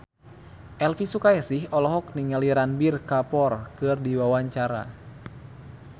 Elvi Sukaesih olohok ningali Ranbir Kapoor keur diwawancara